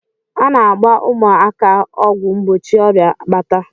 A na-agba ụmụaka ọgwụ mgbochi ọrịa akpata.